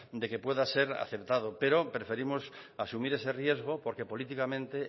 de que pueda ser aceptado pero preferimos asumir ese riesgo porque políticamente